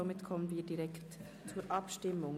Somit kommen wir direkt zur Abstimmung.